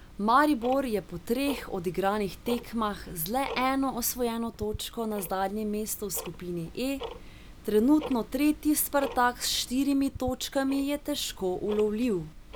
Maribor je po treh odigranih tekmah z le eno osvojeno točko na zadnjem mestu v skupini E, trenutno tretji Spartak s štirimi točkami je težko ulovljiv.